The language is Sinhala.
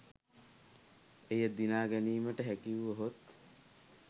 එය දිනා ගැනීමට හැකි වුවහොත්